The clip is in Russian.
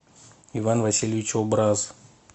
иван васильевич образ